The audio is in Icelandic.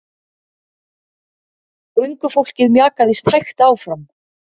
Göngufólkið mjakaðist hægt áfram.